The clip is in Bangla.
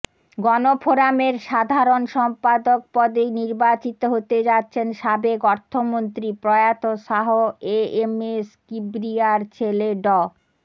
গণফোরামের সাধারণ সম্পাদক পদে নির্বাচিত হতে যাচ্ছেন সাবেক অর্থমন্ত্রী প্রয়াত শাহ এএমএস কিবরিয়ার ছেলে ড